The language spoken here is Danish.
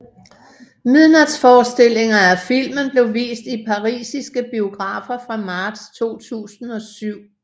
Midnatsforestillinger af filmen blev vist i parisiske biografer fra marts 2007